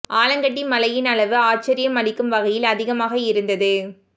ஆலங்கட்டி மழையின் அளவு ஆச்சர்யம் அளிக்கும் வகையில் அதிகமாக இருந்தது